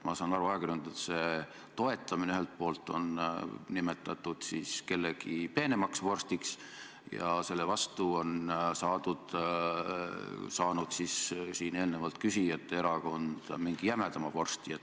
Ma saan aru, et ajakirjanduse toetamist on ühelt poolt nimetatud kellegi peenemaks vorstiks ja selle vastu on saanud siin eelnevalt küsijate erakond mingi jämedama vorsti.